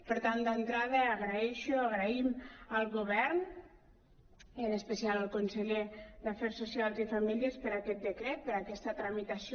per tant d’entrada dono les gràcies donem les gràcies al govern i en especial al conseller d’afers socials i famílies per aquest decret per aquesta tramitació